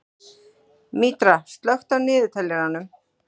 Mítra, slökktu á niðurteljaranum.